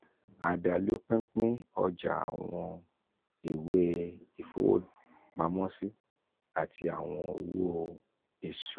adalu pinpin ọja awọn iwe ifowopamosi ati awọn owo išura.